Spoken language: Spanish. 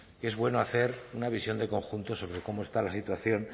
es bueno hacer una visión de conjunto sobre cómo está la situación